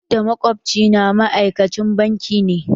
Da, makwabci na ma'aikacin banki ne.